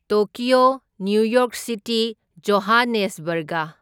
Tokyo, New York City, Johannesburg.